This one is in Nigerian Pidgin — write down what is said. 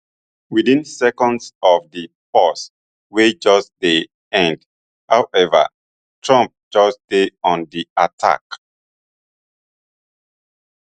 within seconds of di pause wey just dey end however trump just dey on di attack